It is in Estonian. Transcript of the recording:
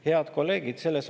Head kolleegid!